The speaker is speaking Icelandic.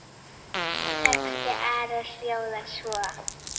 Texti Ara hljóðar svo